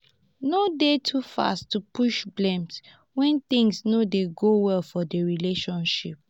no de too fast to push blame when things no dey go well for di relationship